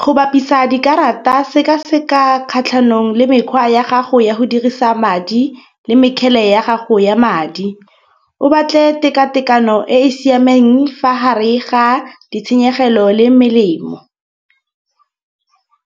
Go bapisa dikarata sekaseka kgatlhanong le mekgwa ya gago ya go dirisa madi le mekgele ya gago ya madi, o batle tekatekano e e siameng fa hare ha ditshenyegelo le melemo